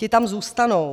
Ti tam zůstanou.